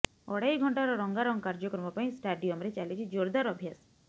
ଅଢେଇ ଘଂଟାର ରଙ୍ଗାରଙ୍ଗ କାର୍ଯ୍ୟକ୍ରମ ପାଇଁ ଷ୍ଟାଡିଅମରେ ଚାଲିଛି ଜୋରଦାର ଅଭ୍ୟାସ